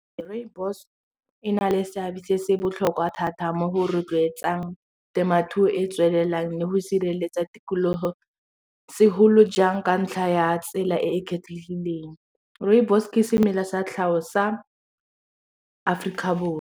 Rooibos e na le seabe se se botlhokwa thata mo go rotloetsang temothuo e e tswelelang le go sireletsa tikologo, segolo jang ka ntlha ya tsela e e kgethegileng rooibos ke semela sa tlhago sa Aforika Borwa.